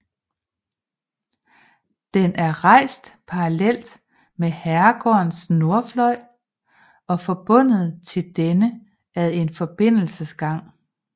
Den er rejst parallelt med herregårdens nordfløj og forbundet til denne ad en forbindelsesgang